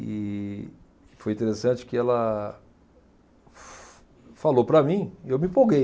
E foi interessante que ela fa falou para mim e eu me empolguei.